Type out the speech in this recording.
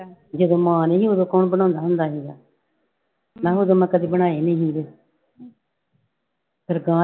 ਜਦੋਂ ਮਾਂ ਨੀ ਸੀ ਉਦੋਂ ਕੌਣ ਬਣਾਉਂਦਾ ਹੁੰਦਾ ਸੀਗਾ ਮੈਂ ਕਿਹਾ ਉਦੋਂ ਮੈਂ ਕਦੇ ਬਣਾਏ ਨੀ ਸੀਗੇ ਫਿਰ ਗਾਂਹ